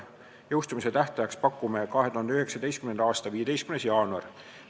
Jõustumistähtajaks pakume 2019. aasta 15. jaanuari.